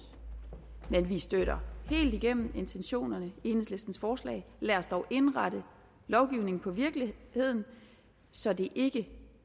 men vi støtter helt igennem intentionerne i enhedslistens forslag lad os dog indrette lovgivningen på virkeligheden så det ikke